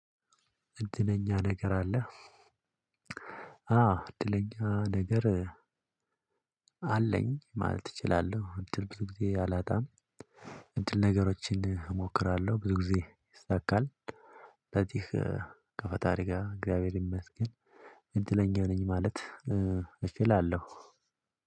እድለኛ ነገር አለህ? አዎ እድለኛ ነገር አለኝ ማለት እችላለሁ እድል ብዙ ጊዜ አላጣም። እድል ነገሮችን እሞክራለሁ ብዙ ጊዜ ይሳካል። ለዚህ ከፈጣሪ ጋር እግዚአብሔር ይመስገን። እድለኛ ነኝ ማለት እችላለሁ።